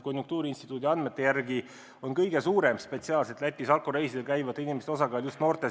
Konjunktuuriinstituudi andmete järgi on spetsiaalselt Lätis alkoreisidel käivate inimeste seas suurim osakaal just noortel.